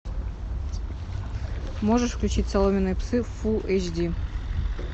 можешь включить соломенные псы фулл эйч ди